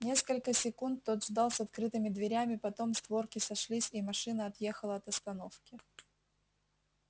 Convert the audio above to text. несколько секунд тот ждал с открытыми дверями потом створки сошлись и машина отъехала от остановки